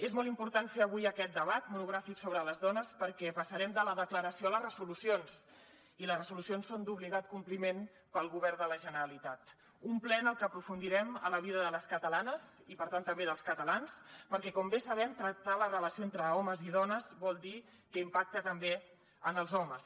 és molt important fer avui aquest debat monogràfic sobre les dones perquè passarem de la declaració a les resolucions i les resolucions són d’obligat compliment pel govern de la generalitat un ple en el que aprofundirem en la vida de les catalanes i per tant també dels catalans perquè com bé sabem tractar la relació entre homes i dones vol dir que impacta també en els homes